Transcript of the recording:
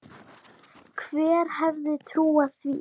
Hver hefði trúað því.